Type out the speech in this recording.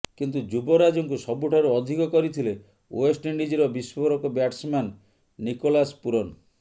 କିନ୍ତୁ ଯୁବରାଜଙ୍କୁ ସବୁଠାରୁ ଅଧିକ କରିଥିଲେ ଓ୍ୱେଷ୍ଟ ଇଣ୍ଡିଜର ବିସ୍ଫୋରକ ବ୍ୟାଟସମ୍ୟାନ୍ ନିକୋଲାସ ପୁରନ